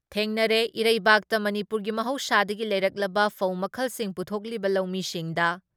ꯊꯦꯡꯅꯔꯦ, ꯏꯔꯩꯩꯕꯥꯛꯇ ꯃꯅꯤꯄꯨꯔꯒꯤ ꯃꯍꯧꯁꯥꯗꯒꯤ ꯂꯩꯔꯛꯂꯕ ꯐꯧ ꯃꯈꯜꯁꯤꯡ ꯄꯨꯊꯣꯛꯂꯤꯕ ꯂꯧꯃꯤꯁꯤꯡꯗ